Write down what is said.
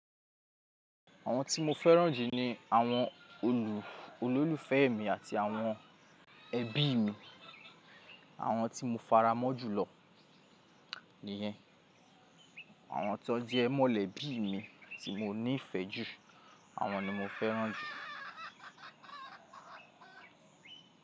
Àwọn tí mo fẹ́ràn jù ni àwọn olù, olólùfẹ́ mi àti àwọn ẹbí mi. Àwọn tí mo faramọ́ jùlọ nìyẹn. Àwọn tó jẹ mọ́lẹ̀bí mi tí mo nífẹ̀ẹ́ jù, àwọn ni mo fẹ́ràn jù.